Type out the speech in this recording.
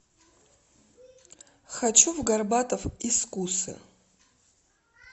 хочу в горбатов из кусы